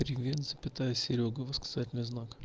привет запятая серёга восклицательный знак